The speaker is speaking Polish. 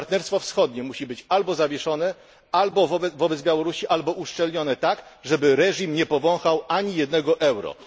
Partnerstwo wschodnie musi być albo zawieszone wobec Białorusi, albo uszczelnione tak, żeby reżim nie powąchał ani jednego euro.